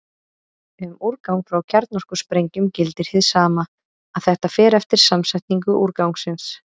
Um úrgang frá kjarnorkusprengjum gildir hið sama, að þetta fer eftir samsetningu úrgangsins.